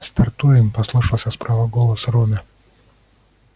стартуем послышался справа голос рона